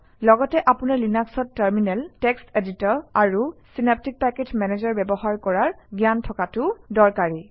লগতে আপোনাৰ লিনাক্সত টাৰমিনেল টেক্সট এডিটৰ আৰু চিনাপ্টিক পেকেজ মেনেজাৰ ব্যৱহাৰ কৰাৰ জ্ঞান থকাটোও দৰকাৰী